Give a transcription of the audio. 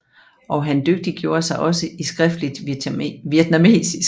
Og han dygtiggjorde sig også i skriftligt vietnamesisk